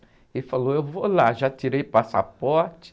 Ele falou, eu vou lá, já tirei passaporte.